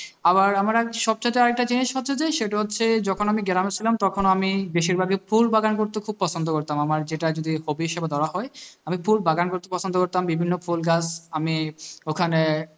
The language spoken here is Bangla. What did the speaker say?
আবার আমার এক সব চাইতে একটা জিনিস হচ্ছে যে সেটা হচ্ছে যখন আমি গ্রাম এ ছিলাম তখন আমি বেশির ভাগই ফুলবাগান করতে খুব পছন্দ করতাম আমার যেটা যদি hobby হিসাবে ধরা হয় আমি ফুল বাগান করতে পছন্দ করতাম বিভিন্ন ফুল গাছ আমি ওখানে